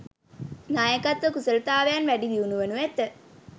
නායකත්ව කුසලතාවයන් වැඩි දියුණු වනු ඇත